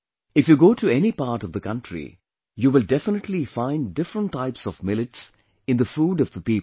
If you go to any part of the country, you will definitely find different types of Millets in the food of the people there